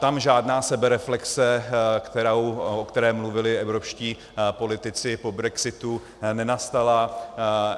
Tam žádná sebereflexe, o které mluvili evropští politici po brexitu, nenastala.